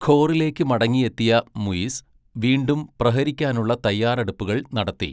ഘോറിലേക്ക് മടങ്ങിയെത്തിയ മുയിസ് വീണ്ടും പ്രഹരിക്കാനുള്ള തയ്യാറെടുപ്പുകൾ നടത്തി.